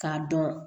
K'a dɔn